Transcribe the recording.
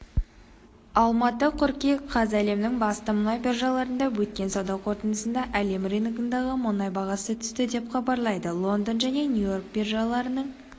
алматы қыркүйек қаз әлемнің басты мұнай биржаларында өткен сауда қортындысында әлем рыногындағы мұнай бағасы түсті деп хабарлайды лондон және нью-йорк биржаларының